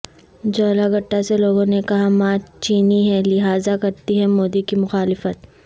جوالہ گٹٹا سے لوگوں نے کہا ماں چینی ہیں لہذا کرتی ہیں مودی کی مخالفت